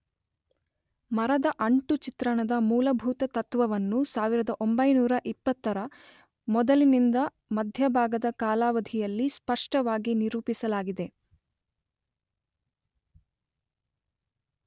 ಮರದ ಅಂಟು ಚಿತ್ರಣದ ಮೂಲಭೂತ ತತ್ವವನ್ನು ೧೯೨೦ ರ ಮೊದಲಿನಿಂದ ಮಧ್ಯಭಾಗದ ಕಾಲಾವಧಿಯಲ್ಲಿ ಸ್ಪಷ್ಟವಾಗಿ ನಿರೂಪಿಸಲಾಗಿದೆ.